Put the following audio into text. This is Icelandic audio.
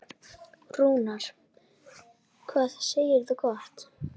Rúnar, hvað segirðu gott?